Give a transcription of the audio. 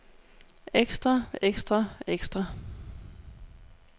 ekstra ekstra ekstra